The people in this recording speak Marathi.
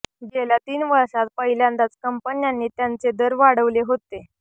गेल्या तीन वर्षांत पहिल्यांदाच कंपन्यांनी त्यांचे दर वाढवले होते